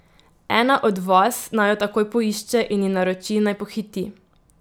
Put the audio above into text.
Ena od vas naj jo takoj poišče in ji naroči, naj pohiti!